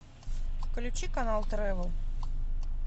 включи канал трэвел